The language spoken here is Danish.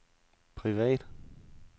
privat